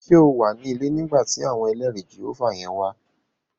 Ṣé o wà ní ilé nígbà tí àwọn ẹlẹrìí Jèhófà yẹn wá?